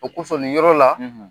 O kosɔn nin yɔrɔ la.